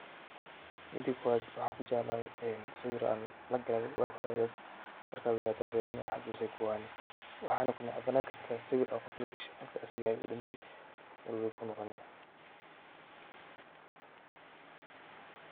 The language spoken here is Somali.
Mida kowaad waxan kujeclaha sawir lagalay waa hore markad weynato wad firini xasus ayey kuahani waxana kunecbani karta sawir ad qof lagashay qofki asaga ahayna uu dinte murugo ayey kunoqoni.